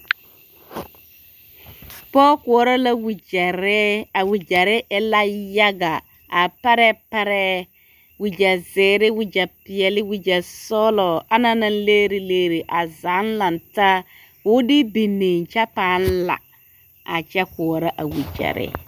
pɔge koɔrɔ la wagyare a wagyare e la yaga a tara parɛɛ wagya zeere wagya peɛle wagya sɔglɔ ana la leereleere ana zaa lantaa ka o de biŋ kyɛ paa la a koɔrɔ a boma.